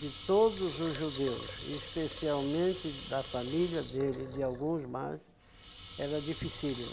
de todos os judeus, especialmente da família dele e de alguns mais, era dificílima.